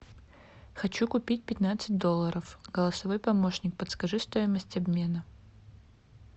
хочу купить пятнадцать долларов голосовой помощник подскажи стоимость обмена